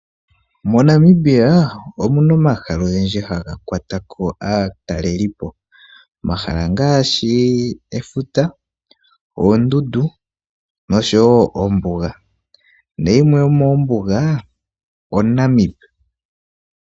MoNamibia omuna omahala ogendji haga kwatako aatalelipo. Omahala ngaashi efuta , oondundu noshowo ombuga. Nayimwe yomoombuga oNamib.